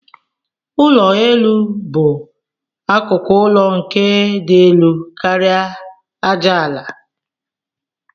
Ụlọ elu bu akụkụ ụlọ nke di elu karia aja ala.